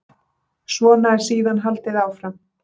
Svona er síðan haldið áfram.